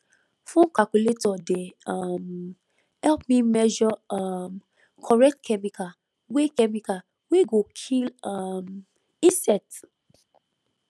phone calculator dey um help me measure um correct chemical wey chemical wey go kill um insect